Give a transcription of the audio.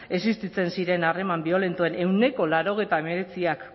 existitzen ziren harreman biolentoen ehuneko laurogeita hemeretziak